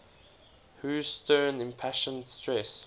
whose stern impassioned stress